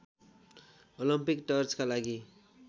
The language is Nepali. ओलम्पिक टर्चका लागि